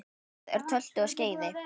Lokið er tölti og skeiði.